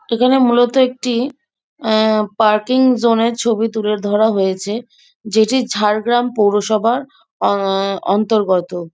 এখানে মূলত একটি পার্কিং জোনের ছবি তুলে ধরা হয়েছে। যেটি ঝাড়গ্রাম পৌরসভার অন্তর্গত।